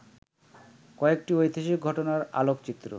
কয়েকটি ঐতিহাসিক ঘটনার আলোকচিত্র